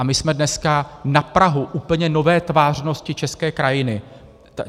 A my jsme dneska na prahu úplně nové tvářnosti české krajiny.